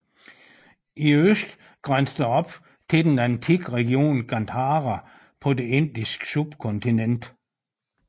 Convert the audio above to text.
I øst grænsede det op til den antikke region Gandhara på det Indiske subkontinent